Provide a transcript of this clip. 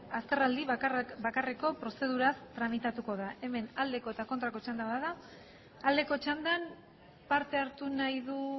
azterraldi bakarreko prozeduraz tramitatuko da hemen aldeko eta kontrako txanda bada aldeko txandan parte hartu nahi du